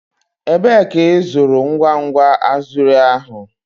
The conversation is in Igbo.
Ebee ka ịzụrụ ngwa ngwa azure ahụ?